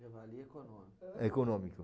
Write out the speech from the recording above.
Javali é econômico? É econômico.